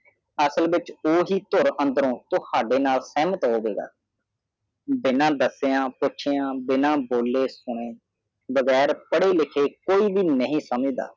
ਅਸਲ ਵਿਚ ਓਹੀ ਤੁਰ ਅੰਦਰੋਂ ਤੁਹਾਡੇ ਨਾਲ ਸ਼ਾਮਤ ਹੋਵੇਗਾ ਬਿਨਾ ਡਟਿਆ ਪੁੱਛਿਆ ਬਿਨਾ ਬੋਲੇ ਬਗੈਰ ਪਾੜੇ ਲਿਖੇ ਕੋਈ ਵੀ ਨਹੀਂ ਸਮਝਦਾ